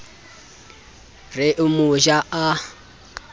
re o mo ja a